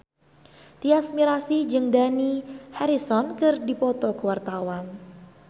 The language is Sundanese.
Tyas Mirasih jeung Dani Harrison keur dipoto ku wartawan